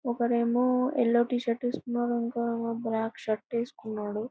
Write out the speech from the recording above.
ఒకరేమో yellow T shirt ఏసుకున్నాడు. ఇంకోడు బ్లాక్ షర్ట్ ఏసుకున్నాడు.